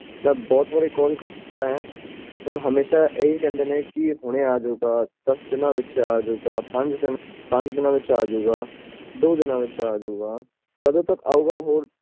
ਮੈਂ ਬਹੁਤ ਵਾਰੀ call ਕਰ ਚੁਕਿਆ ਹੈ ਹਮੇਸ਼ਾ ਹੀ ਕਹਿੰਦੇ ਏ ਹੁਣਿ ਆ ਜੂਗਾ ਦੱਸ ਦੀਨਾ ਤਕ ਆ ਜੁਗ ਪੰਜ ਦੀਨਾ ਵਿਚ ਆ ਜੂਗਾ ਦੋ ਦਿਨ ਵਿਚ ਆ ਜੂਗਾ ਕੱਢ ਤਕ ਆਯੋਗ ਉਹ